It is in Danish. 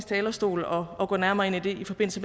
talerstol og gå nærmere ind i det i forbindelse